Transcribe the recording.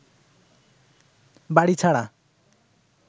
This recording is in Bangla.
বাড়ি ছাড়া